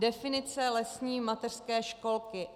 Definice lesní mateřské školky.